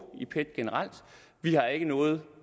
i pet generelt vi har ikke noget